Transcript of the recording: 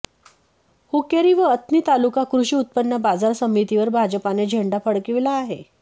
हुक्केरी व अथणी तालुका कृषी उत्पन्न बाजार समितीवर भाजपाने झेंडा फडकविला आहे